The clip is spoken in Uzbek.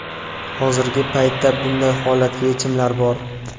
Hozirgi paytda bunday holatga yechimlar bor.